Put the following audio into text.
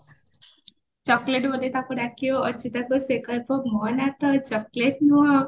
chocolate ବୋଲି ତାକୁ ଡାକିବା ଅର୍ଚିତାକୁ ସେ କହିବ ମୋ ନାଁ ତ chocolate ନୁହ